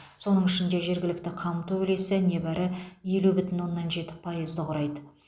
соның ішінде жергілікті қамту үлесі небәрі елу бүтін оннан жеті пайызды құрайды